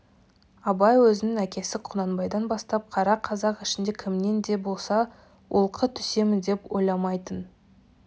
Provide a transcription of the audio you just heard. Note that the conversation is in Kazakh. абай өзінің әкесі құнанбайдан бастап қара қазақ ішінде кімнен де болса олқы түсемін деп ойламайтын